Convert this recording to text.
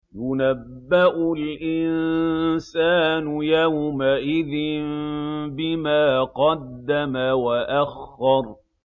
يُنَبَّأُ الْإِنسَانُ يَوْمَئِذٍ بِمَا قَدَّمَ وَأَخَّرَ